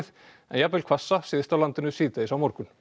en jafnvel hvassa syðst á landinu síðdegis á morgun